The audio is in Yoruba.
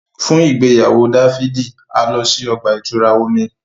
Fun igbeyawo Dafidi, a lọ si ọgba-itura omí